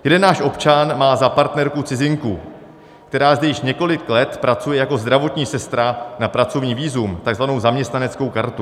Jeden náš občan má za partnerku cizinku, která zde již několik let pracuje jako zdravotní sestra na pracovní vízum, tzv. zaměstnaneckou kartu.